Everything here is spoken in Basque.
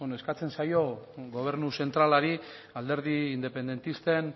eskatzen zaio gobernu zentralari alderdi independentisten